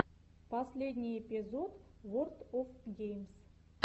последний эпизод ворлд оф геймс